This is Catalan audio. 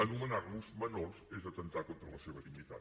anomenar los menors és atemptar contra la seva dignitat